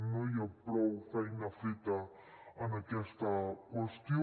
no hi ha prou feina feta en aquesta qüestió